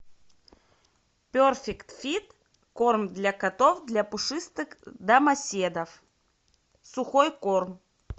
перфект фит корм для котов для пушистых домоседов сухой корм